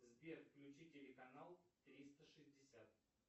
сбер включи телеканал триста шестьдесят